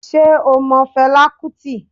Sé o mo Felá Kútì?